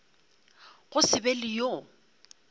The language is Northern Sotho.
go se be le yo